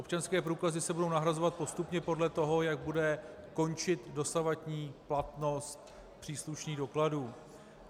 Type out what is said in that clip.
Občanské průkazy se budou nahrazovat postupně podle toho, jak bude končit dosavadní platnou příslušných dokladů.